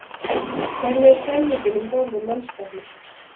Hvernig er stemningin um borð í mannskapnum?